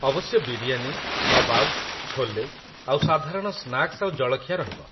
ଅବଶ୍ୟ ବିରିୟାନି, କବାବ, ଛୋଲେ ଆଉ ସାଧାରଣ ସ୍ନାକ୍ସ ଆଉ ଜଳଖିଆ ରହିବ।